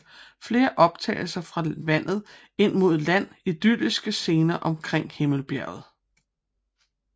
Flere optagelser fra vandet ind mod land Idylliske scener omkring Himmelbjerget